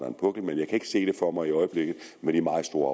en pukkel men jeg kan ikke se det for mig i øjeblikket med de meget store